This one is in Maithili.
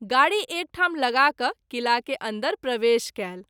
गाड़ी एक ठाम लगा क’ किला के अन्दर प्रवेश कयल।